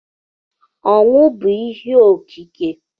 Ọnwụ bụ ihe okike